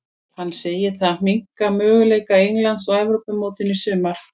Hann segir það minnka möguleika Englands á Evrópumótinu í sumar.